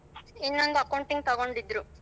ಇನ್ನೊಂದು accounting ತಗೊಂಡಿದ್ರು.